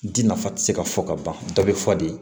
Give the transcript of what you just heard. Di nafa ti se ka fɔ ka ban dɔ bɛ fɔ de